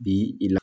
Bi i la